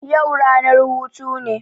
Yau ranar hutu ne